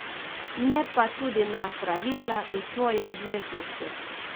Ne pa tudi na pravila in svoje obveznosti.